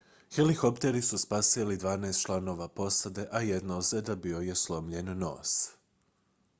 helikopteri su spasili dvanaest članova posade a jedina ozljeda bio je slomljen nos